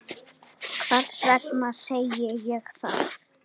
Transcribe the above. Hvers vegna segi ég það?